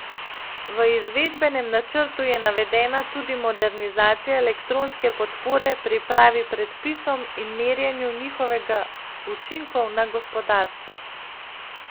V izvedbenem načrtu je navedena tudi modernizacija elektronske podpore pripravi predpisom in merjenju njihovega učinkov na gospodarstvo.